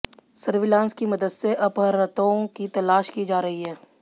surveillance की मदद से अपहर्ताओं की तलाश की जा रही है